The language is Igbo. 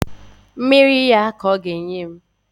Mmiri ya ka ọ ga-enye m